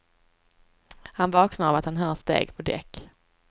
Han vaknar av att han hör steg på däck.